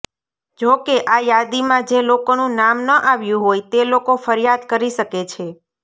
જોકે આ યાદીમાં જે લોકોનું નામ ન આવ્યું હોય તે લોકો ફરિયાદ કરી શકે છે